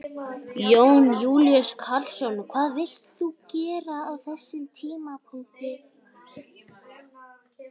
Jón Júlíus Karlsson: Hvað vilt þú gera á þessum tímapunkti?